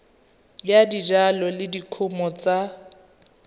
ya dijalo le dikumo tsa